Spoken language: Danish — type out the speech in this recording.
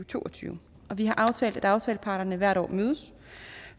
to og tyve og vi har aftalt at aftaleparterne hvert år mødes